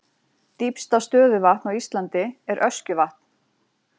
Dýpsta stöðuvatn á Íslandi er Öskjuvatn.